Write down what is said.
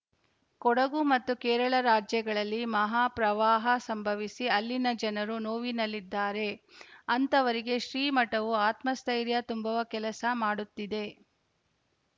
ಕೊಡಗು ಮತ್ತು ಕೇರಳ ರಾಜ್ಯಗಳಲ್ಲಿ ಮಹಾಪ್ರವಾಹ ಸಂಭವಿಸಿ ಅಲ್ಲಿನ ಜನರು ನೋವಿನಲ್ಲಿದ್ದಾರೆ ಅಂತಹವರಿಗೆ ಶ್ರೀಮಠವು ಆತ್ಮಸ್ಥೈರ್ಯ ತುಂಬುವ ಕೆಲಸ ಮಾಡುತ್ತಿದೆ